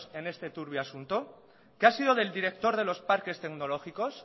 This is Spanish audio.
en este turbio asunto qué ha sido del director de los parques tecnológicos